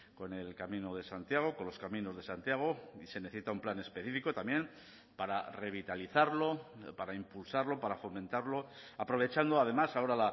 con el camino de santiago con los caminos de santiago y se necesita un plan específico también para revitalizarlo para impulsarlo para fomentarlo aprovechando además ahora